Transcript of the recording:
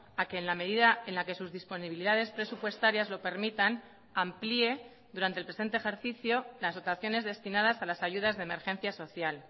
a que en la medida en la que sus disponibilidades presupuestarias lo permitan amplíe durante el presente ejercicio las dotaciones destinadas a las ayudas de emergencia social